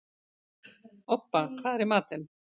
Obba, hvað er í matinn?